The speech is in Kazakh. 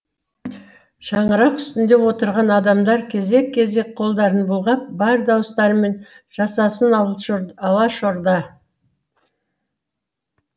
шаңырақ үстінде отырған адамдар кезек кезек қолдарын бұлғап бар дауыстарымен жасасын алашорда